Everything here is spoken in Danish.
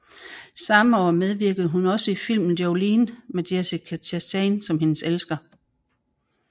Samme år medvirkede hun også i filmen Jolene med Jessica Chastain som hendes elsker